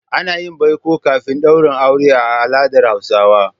Ana yin baiko kafin daurin aure a al'adar Hausawa.